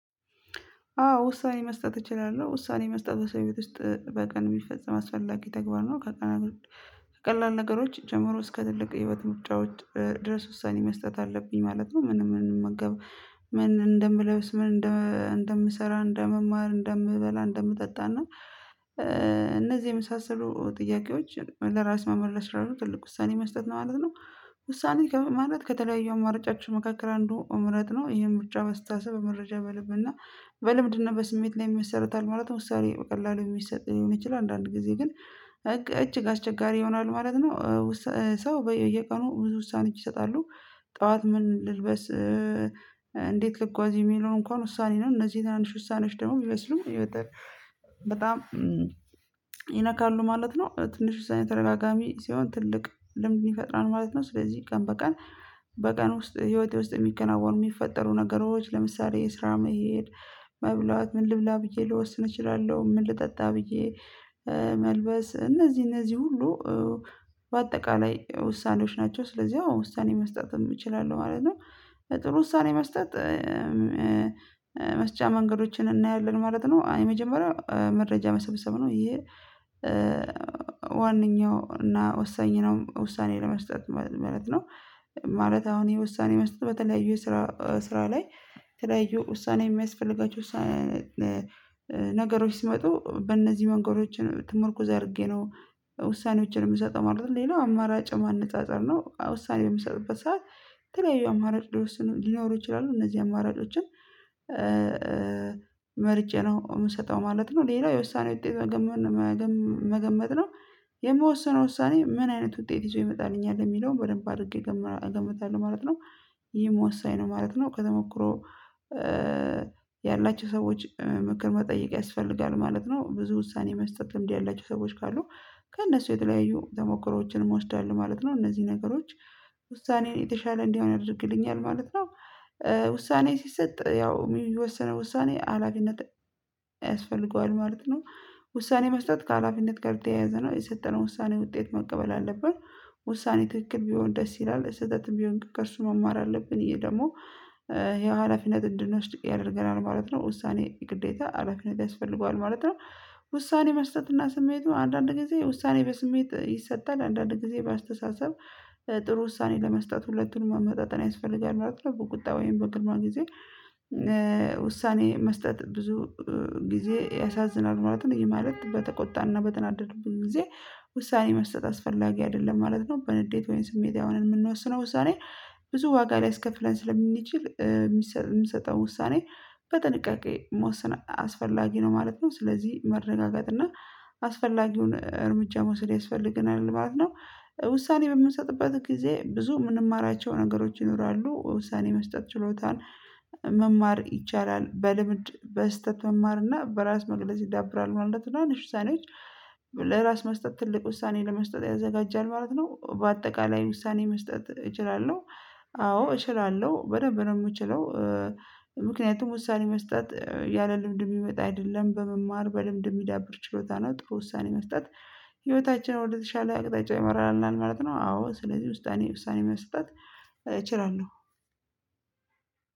አዎ ውሳኔ መስጠት እችላለሁ ውሳኔ መስጠት በሰው ህይወት ውስጥ በቀን የሚፈፀም አስፈላጊ ተግባር ነው። ከቀላል ነገሮች ጀምሮ እስከ ትልቅ የህይወት ምርጫዎች ድረስ ውሳኔ መስጠት አለብኝ ማለት ነው ምንመገበው ምን እንደምለብስ ምን እንደምሰራ እንደምማር እንደምበላ እንደምጠጣና እና እነዚህ የመሳሰሉ ጥያቄዎች ለራስ መመለስ ያሉት ትልቁ ውሳኔ መስጠት ነው ማለት ነው። ውሳኔ ከማለት ከተለያዩ አማራጫችን መካከል አንዱ መምረጥ ነው ይሄ ምርጫ በአስተሳሰብ መረጃ በልብና በልምድና በስሜት ላይ ይመሰራታል ማለት ነው። ውሳኔ በቀላሉ የሚሰጥ የሚችል አንዳንድ ጊዜ ግን እጅግ አስቸጋሪ ይሆናል ማለት ነው። ሰው በየቀኑ ብዙ ውሳኔ ይሰጣሉ ጠዋት ምን ልልበስ ልጉዋዝ የሚለውን እንኳን ውሳኔ ነው እነዚህ ትናንሽ ውሳኔዎች ደግሞ ቢመስሉም እየወጣሁ በጣም ይነካሉ ማለት ነው። ትንሽ ውሳኔ ተደጋጋሚ ሲሆን ትልቅ ልምድ ይፈጥራል ማለት ነው። ስለዚህ ቀን በቀን በቀን ውስጥ ህይወቴ ውስጥ የሚከናወኑ የሚፈጠሩ ነገሮች ለምሳሌ የስራ መሄድ መብላት ምን ልብላ ብዬ ልወስን እችላለሁ ምን ልጠጣ ብዬ መልበስ እነዚህ እነዚህ ሁሉ በአጠቃላይ ውሳኔዎች ናቸው። ስለዚህ አዎ ውሳኔ መስጠት እችላለሁ ማለት ነው። ጥሩ ውሳኔ መስጠት መስጫ መንገዶችን እናያለን ማለት ነው። አይ መጀመሪያ መረጃ መሰብሰብ ነው ይሄ ዋናው እና ወሳኝ ነው ውሳኔ ለመስጠት ማለት ነው። ማለት አሁን የውሳኔ መስጠት በተለያዩ ስራ ስራ ላይ ተለያዩ ውሳኔ የሚያስፈልገው ውሳኔ ነገሮች ሲመጡ በእነዚህ መንገዶችን ትምህርት ተመርኩዞ አድርጌ ነው ውሳኔዎችን የምሰጠው ማለት ሌላው አማራጭ ማነጻጸር ነው ውሳኔ የሚሰጥበት ሰዓት የተለያዩ አማራጭ ሊወስን ሊኖሩ ይችላሉ እነዚህ አማራጮችን መርጬ ነው የምሰጠው ማለት ነው። ሌላው የውሳኔ ውጤት መገመት ነው የምወሰነው ውሳኔ ምን አይነት ውጤት ይዞ ይመጣልኛል የሚለውን በደንብ አድርጌ ገምታለሁ ማለት ነው። ይሄም ወሳኝ ነው ማለት ነው ከተሞክሮ ያላቸው ሰዎች ምክር መጠየቅ ያስፈልጋል ማለት ነው ብዙ ውሳኔ የመስጠት ልምድ ያላቸው ሰዎች ካሉ ከእነሱ የተለያዩ ተሞክሮዎችንም እወስዳለሁ ማለት ነው። እነዚህ ነገሮች ውሳኔዬ የተሻለ እንዲሆን ያደርግልኛል ማለት ነው። ውሳኔ ሲሰጥ ያው የሚወሰነው ውሳኔ አላፊነት ያስፈልገዋል ማለት ነው። ውሳኔ መስጠት ከሀላፊነት ጋር የተያያዘ ነው የስልጠና ውሳኔ ውጤት መቀበል አለብን ውሳኔ ትክክል ቢሆን ደስ ይላል ስህተትም ቢሆን ከእርሱ መማር አለብን ይሄ ደግሞ ይሄን ሀላፊነት እንድንወስድ ያደርገናል ማለት ነው። ውሳኔ ግዴታ ሀላፊነት ያስፈልገዋል ማለት ነው። ውሳኔ መስጠት እና ስሜቱ አንዳንድ ጊዜ ውሳኔ በስሜት ይሰጣል አንዳንድ ጊዜ በአስተሳሰብ ጥሩ ውሳኔ ለመስጠት ሁለቱን ማመጣጠን ያስፈልጋል ማለት ነው። በቁጣ ወይም በቅድመ ጊዜ ውሳኔ መስጠት ብዙ ጊዜ ያሳዝናል ማለትም ይሄ ማለት በተቆጣና በተናደዱብኝ ጊዜ ውሳኔ መስጠት አስፈላጊ አይደለም ማለት ነው። በንዴት ወይም ስሜታዊ ሆነን የምንወስነው ውሳኔ ብዙ ዋጋ ሊያስከፍለን ስለሚችል የምንሰጠው ውሳኔ በጥንቃቄ መወሰን አስፈላጊ ነው ማለት ነው። ስለዚህ መረጋጋት እና አስፈላጊውን እርምጃ መውሰድ ያስፈልገናል ማለት ነው። ውሳኔ በምንሰጥበት ጊዜ ብዙ የምንማራቸው ነገሮች ይኖራሉ ውሳኔ መስጠት ችሎታን መማር ይቻላል በልምድ በስህተት መማር እና በራስ መግለጽ ይዳብራል ማለት ነው። እና ውሳኔዎች ለራስ መስጠት ትልቅ ውሳኔ ለመስጠት ያዘጋጃል ማለት ነው። በአጠቃላይ ውሳኔ መስጠት እችላለሁ። አዎ እችላለሁ በደንብ ነው የምችለው ምክንያቱም ወሳኔ መስጠት ያለ ልምድ የሚመጣ አይደለም በመማር በልምድ የሚዳብር ችሎታ ነው። ጥሩ ውሳኔ መስጠት ህይወታችን ወደተሻለ አቅጣጫ ይመራል ማለት ነው። አዎ ስለዚህ ውስጣኔ ውሳኔ መስጠት እችላለሁ።